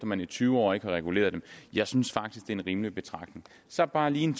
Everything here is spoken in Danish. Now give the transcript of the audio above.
man i tyve år ikke har reguleret dem jeg synes faktisk det er en rimelig betragtning så bare lige en